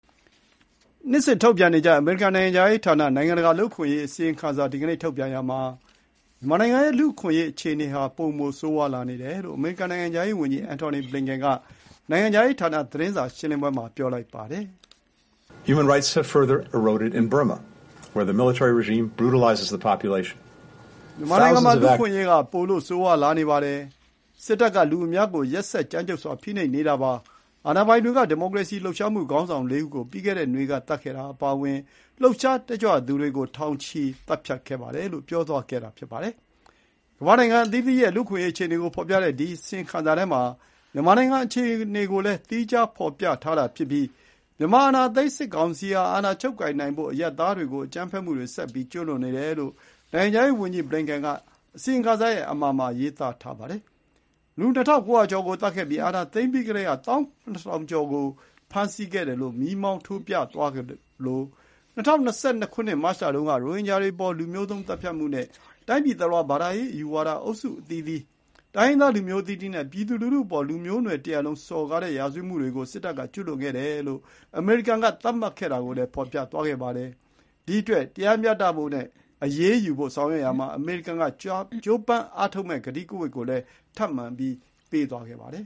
နှစ်စဉ်ထုတ်ပြန်နေကျ အမေရိကန်နိုင်ငံခြားရေးဌာန နိုင်ငံတကာလူ့အခွင့်အရေးအစီရင်ခံစာကို ဒီကနေ့ထုတ်ပြန်ရာမှာ မြန်မာနိုင်ငံရဲ့လူ့အခွင့်အရေးအခြေအနေဟာ ပိုမို ဆိုးဝါးလာနေတယ်လို့ အမေရိကန်နိုင်ငံခြားရေးဝန်ကြီး Anthony Blinken က နိုင်ငံခြားရေးဌာန သတင်းစာရှင်းလင်းပွဲမှာ ပြောပါတယ်။ “မြန်မာနိုင်ငံမှာ လူ့အခွင့်အရေးက ပိုလို့ ဆိုးဝါးလာနေပါတယ်။ စစ်တပ်က လူအများကို ရက်စက်ကြမ်းကြုတ်စွာ ဖိနှိပ်နေတာပါ။ အာဏာပိုင်တွေက ဒီမိုကရေစီလှုပ်ရှားမှု ခေါင်းဆောင် ၄ ဦး ကို ပြီးခဲ့တဲ့နွေကသတ်ခဲ့တာအပါအဝင် လှုပ်ရှားတက်ကြွသူတွေကို ထောင်ချီ သတ်ဖြတ်ခဲ့ပါတယ်" လို့ ပြောသွားခဲ့တာပါ။ ကမ္ဘာ့နိုင်ငံအသီးသီးရဲ့ လူ့အခွင့်အရေးအခြေအနေကိုဖော်ပြတဲ့ ဒီအစီရင်ခံစာထဲမှာ မြန်မာနိုင်ငံအခြေအနေကိုလည်း သီးခြားဖော်ပြထားတာဖြစ်ပြီး မြန်မာအာဏာသိမ်းစစ်ကောင်စီဟာ အာဏာချုပ်ကိုင်နိုင်ဖို့ အရပ်သားတွေကို အကြမ်းဖက်မှုတွေ ဆက်ကျူးလွန်နေတယ်လို့ နိုင်ငံခြားရေးဝန်ကြီး ဘလင်ကန်က အစီရင်ခံစာရဲ့ အမှာရေးသားထားပါတယ်။ လူ ၂,၉၀၀ ကျော်ကိုသတ်ခဲ့ပြီး အာဏာသိမ်းပြီးကတည်းက ၁၇,၀၀၀ ကျော်ကို ဖမ်းဆီးခဲ့တယ်လို့ မီးမောင်းထိုး ပြသွားသလို၊ ၂၀၂၂ မတ်လတုန်း က ရိုဟင်ဂျာတွေ အပေါ် လူမျိုးသုဉ်း သတ်ဖြတ်မှုနဲ့ တိုင်းပြည်တလွှား ဘာသာရေး အယူဝါဒအုပ်စုအသီးသီး၊ တိုင်းရင်းသားလူမျိုးအသီးသီးနဲ့ ပြည်သူလူထုအပေါ် လူသားမျိုးနွယ်တရပ်လုံးစော်ကားတဲ့ ရာဇဝတ်မှုတွေကို စစ်တပ်က ကျူးလွန်ခဲ့တယ်လို့ အမေရိကန်က သတ်မှတ်ခဲ့တာကိုလည်း ဖော်ပြသွားခဲ့ပါတယ်။ ဒီအတွက် တရားမျှဖို့နဲ့ အရေးယူဖို့ဆောင်ရွက်ရာမှာ အမေရိကန်က ကြိုးပမ်းအားထုတ်မယ့် ကတိကဝတ်ကိုလည်း ထပ်မံ ပြုသွားခဲ့ပါတယ်